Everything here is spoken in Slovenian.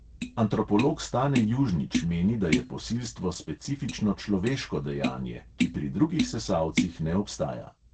Antropolog stane južnič meni, da je posilstvo specifično človeško dejanje, ki pri drugih sesalcih ne obstaja.